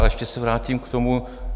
Ale ještě se vrátím k tomu...